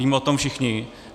Víme o tom všichni.